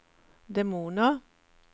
demoner